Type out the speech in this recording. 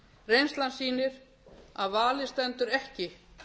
reynslan sýnir að valið stendur ekki